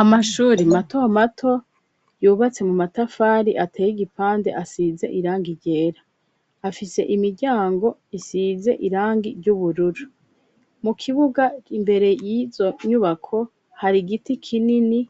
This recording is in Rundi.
Amashuri, mato mato, yubatse mu matafari, ateye igipande, asize irangi ryera; afise imiryango, isize irangi ry'ubururu; mu kibuga, imbere y'izo nyubako, hari igiti kinini,